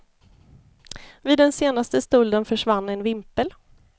Vid den senaste stölden försvann en vimpel.